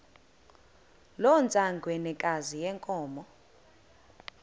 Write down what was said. loo ntsengwanekazi yenkomo